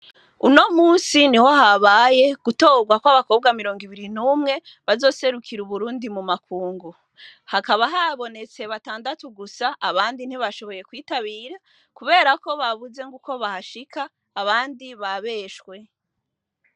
Uno munsi niho habaye gutogwa kw'abakobwa mirongo n'umwe bazoserukira Uburundi mu makungu. Hakaba habonetse batandatu gusa abandi ntibashoboye kwitabira kubera ko babuze ng'uko bahashika abandi babeshwe.